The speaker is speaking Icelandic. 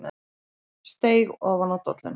Steig ofan á dolluna.